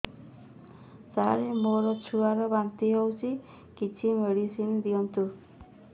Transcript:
ସାର ମୋର ଛୁଆ ର ବାନ୍ତି ହଉଚି କିଛି ମେଡିସିନ ଦିଅନ୍ତୁ